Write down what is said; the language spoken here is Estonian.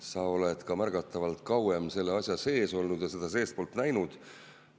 Sa oled ka märgatavalt kauem selle asja sees olnud ja seda seestpoolt näinud.